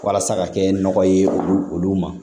Walasa ka kɛ nɔgɔ ye olu ma